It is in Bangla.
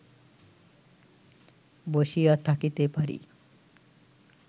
বসিয়া থাকিতে পারি